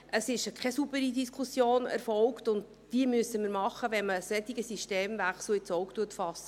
Es erfolgte keine saubere Diskussion, und diese müssen wir führen, wenn man einen solchen Systemwechsel ins Auge fasst.